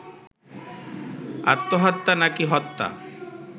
আত্মহত্যা নাকি হত্যা